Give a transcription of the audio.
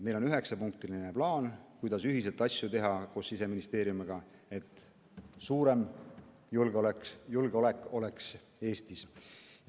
Meil on üheksapunktiline plaan, kuidas Siseministeeriumiga ühiselt asju teha, et Eesti julgeolekut suurendada.